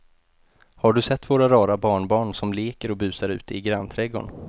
Har du sett våra rara barnbarn som leker och busar ute i grannträdgården!